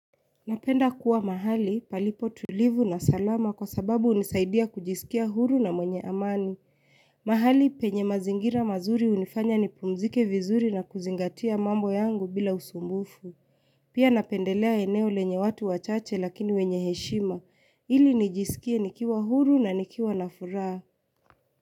Napenda kuwa mahali palipo tulivu na salama kwa sababu hunisaidia kujisikia huru na mwenye amani. Mahali penye mazingira mazuri hunifanya ni pumzike vizuri na kuzingatia mambo yangu bila usumbufu. Pia napendelea eneo lenye watu wachache lakini wenye heshima. Ili nijisikie nikiwa huru na nikiwa na furaha.